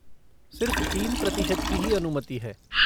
सिर्फ़ तीन प्रतिशत की ही अनुमति है।